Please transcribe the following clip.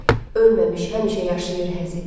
Ölməmiş həmişə yaşayır Həzi.